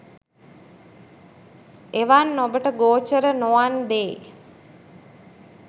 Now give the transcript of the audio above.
එවන් ඔබට ගෝචර නොවන් දේ